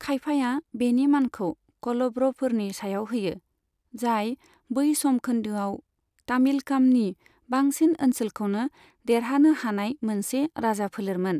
खायफाया बेनि मानखौ कल'भ्रफोरनि सायाव होयो, जाय बै सम खोन्दोआव तामिलकामनि बांसिन ओनसोलखौनो देरहानो हानाय मोनसे राजाफोलेरमोन।